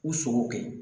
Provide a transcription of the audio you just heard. U sogo kɛ